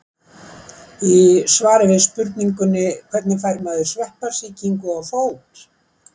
Í svari við spurningunni Hvernig fær maður sveppasýkingu á fót?